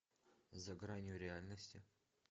за гранью реальности